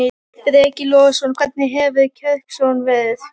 Breki Logason: Hvernig hefur kjörsókn verið?